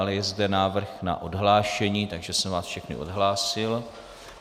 Ale je zde návrh na odhlášení, takže jsem vás všechny odhlásil.